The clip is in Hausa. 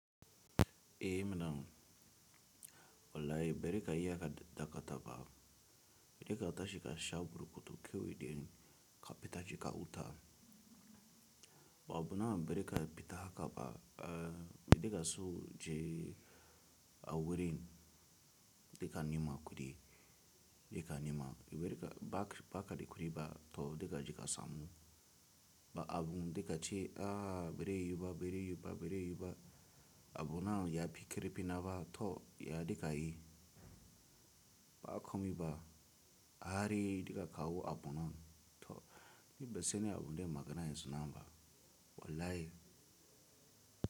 Eh mana wallahi bere ka iya ka dakata ba, bere ka tashi kasha burukutu kewai de ka petashi ka wuta. Ba abuna bere ka peta haka ba, eh bere ka so je awurin dika nima kudi dika nima, iwe re ka bakada kudi ba to dika jika samu. Ba abun dika ce ah bere yiba, bere yiba, bere yiba abuna yafi karifina fina ba to ya dika yi. Ba akomi ba ahari dika kawo abunan to libe sene abunde magana ya suna ba wallahi.